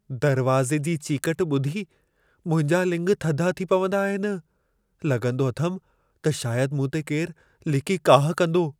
दरवाज़े जी चीकट ॿुधी मुंहिंजा लिङ थधा थी पवंदा आहिनि। लॻंदो अथमि, त शायदि मूं ते केरु लिकी काहु कंदो।